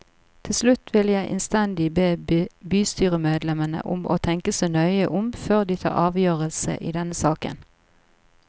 Til slutt vil jeg innstendig be bystyremedlemmene om å tenke seg nøye om før de tar en avgjørelse i denne saken.